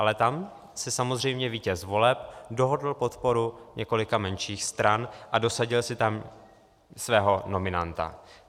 Ale tam si samozřejmě vítěz voleb dohodl podporu několika menších stran a dosadil si tam svého nominanta.